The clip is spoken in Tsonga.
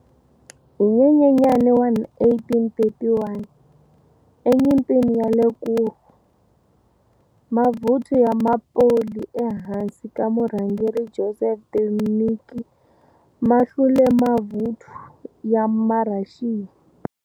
Hi Nyenyenyani wa 1831, enyimpini ya le Kurów, ma vuthu ya maPoli e hansi ka Murhangeri Józef Dwernicki ma hlule mavuthu ya maRhaxiya.